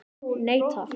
Nei takk.